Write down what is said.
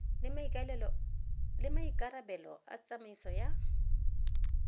le maikarabelo a tsamaiso ya